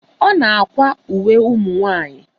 Ọ na-àkwá uwe ụmụnwaanyị.